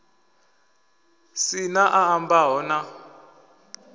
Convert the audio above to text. si na a ambaho na